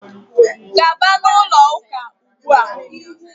gaba na ụlọ ụka ugbua!